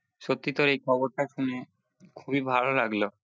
সত্যি তো এই খবরটা শুনে খুবই ভালো লাগলো